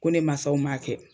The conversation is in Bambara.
Ko ne maasaw ma kɛ.